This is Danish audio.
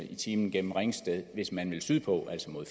time gennem ringsted hvis man vil sydpå altså mod